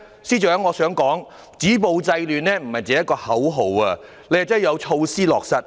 司長，止暴制亂不止口號，需要有措施落實。